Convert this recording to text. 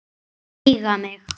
Takk fyrir að eiga mig.